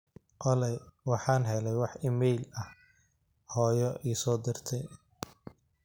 olly waxaan helay wax iimayl ah hoyo isoo dirtey